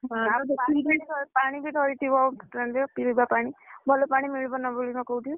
ଆଉ ପାଣି ଧରିଥିବ, ପିଇବା ପାଣି ଭଲ ପାଣି ମିଳିବ ନ ମିଳିବ କୋଉଠି।